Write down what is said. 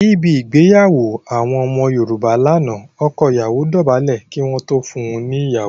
Níbẹ̀ igbeyawo àwọn ọmọ Yorùbá lánà, ọkọ ìyawo dóbálẹ̀ kí wọn tó fún un ní ìyawo